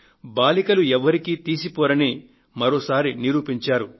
బాలికలు ఎవరికీ తీసిపోరని మరోసారి నిరూపించారు